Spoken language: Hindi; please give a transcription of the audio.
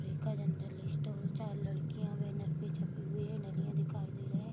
सुलेखा जेनरल स्टोर चार लड़कियाँ बैनर पे छपी हुई है दिखाई दे रहे ।